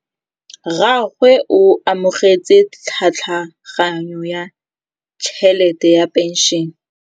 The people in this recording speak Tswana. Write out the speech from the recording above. Rragwe o amogetse tlhatlhaganyô ya tšhelête ya phenšene.